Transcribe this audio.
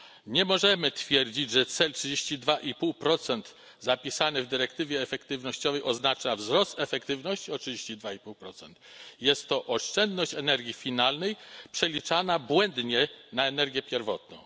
Nie możemy twierdzić, że cel 32,5 zapisany w dyrektywie efektywnościowej oznacza wzrost efektywności o 32,5. Jest to oszczędność energii finalnej, przeliczana błędnie na energię pierwotną.